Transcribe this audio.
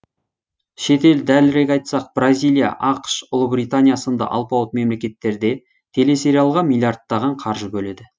шетел дәлірек айтсақ бразилия ақш ұлыбритания сынды алпауыт мемлекеттерде телесериалға миллиярдтаған қаржы бөледі